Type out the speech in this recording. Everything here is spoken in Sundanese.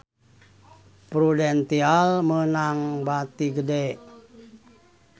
Prudential meunang bati gede